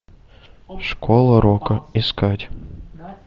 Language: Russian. школа рока искать